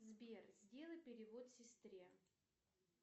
сбер сделай перевод сестре